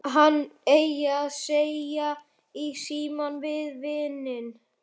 Hvað hann eigi að segja í símann við vininn.